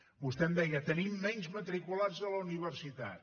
vostè em deia tenim menys matriculats a la universitat